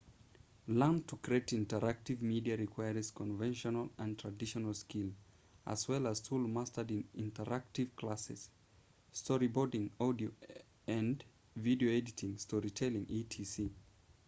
learning to create interactive media requires conventional and traditional skills as well as tools mastered in interactive classes storyboarding audio and video editing story telling etc.